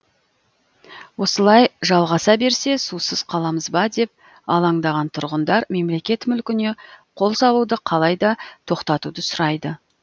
осылай жалғаса берсе сусыз қаламыз ба деп алаңдаған тұрғындар мемлекет мүлкіне қол салуды қалай да тоқтатуды сұрайды